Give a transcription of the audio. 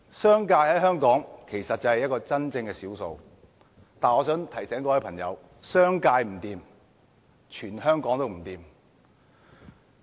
商界在香港是真正的少數，但我想提醒各位朋友，商界不濟，全香港都不濟。